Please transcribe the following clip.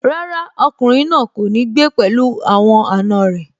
Rárá, ọkùnrin náà kò ní gbé pẹ̀lú àwọn àna rẹ̀